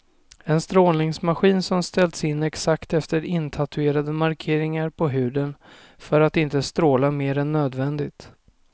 En strålningsmaskin som ställs in exakt efter intatuerade markeringar på huden för att inte stråla mer än nödvändigt.